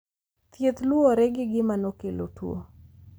Thieth luwore gi gima nokelo tuwo.